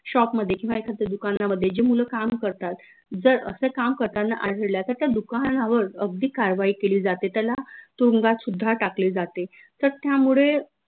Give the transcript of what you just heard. shop किंव्हा एखाद्या दुकानांमध्ये जे मुलं काम करतात जर, असं काम करतांना आढळल्या तर, त्या दुकानावर अगदी कारवाई केली जाते त्याला तुरुंगात सुद्धा टाकले जाते तर त्यामुडे